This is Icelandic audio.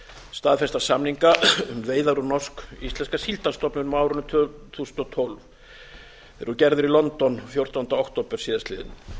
staðfesta samninga um um veiðar úr norsk íslenska síldarstofninum á árinu tvö þúsund og tólf þeir voru gerðir í london fjórtánda október síðastliðinn